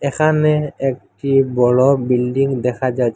এখানে একটি বড় বিল্ডিং দেখা যায়।